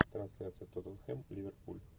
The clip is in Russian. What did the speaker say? трансляция тоттенхэм ливерпуль